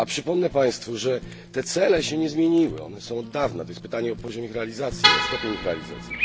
Przypomnę Państwu, że te cele się nie zmieniły, one są od dawna. To jest pytanie o poziom ich realizacji, o stopień ich realizacji.